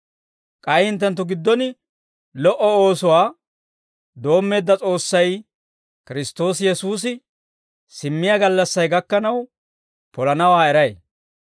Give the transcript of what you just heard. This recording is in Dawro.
K'ay hinttenttu giddon lo"o oosuwaa doommeedda S'oossay, Kiristtoosi Yesuusi simmiyaa gallassay gakkanaw polanawaa eray.